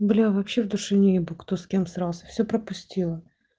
бля вообще в душе не ебу кто с кем срался все пропустила